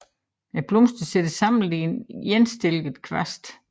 Blomsterne sidder samlet i endestillede kvaste